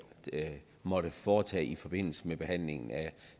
måtte foretage i forbindelse med behandlingen